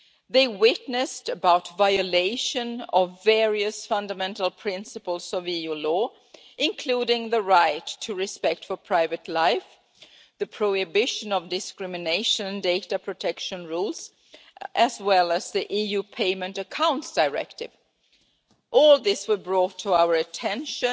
They testified to the violation of various fundamental principles of EU law, including the right to respect for private life, the prohibition of discrimination, and data protection rules, as well as the EU Payment Accounts Directive. All this was brought to our attention